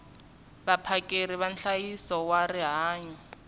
vaphakeri va nhlayiso wa rihanyo